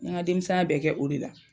N' ye n ka denmisɛn ya bɛɛ kɛ o de la.